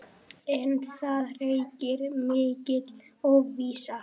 En það ríkir mikil óvissa.